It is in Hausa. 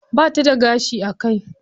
Bata da gashi a kai.